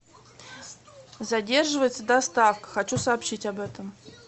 задерживается доставка хочу сообщить об этом